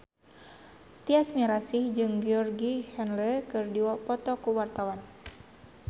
Tyas Mirasih jeung Georgie Henley keur dipoto ku wartawan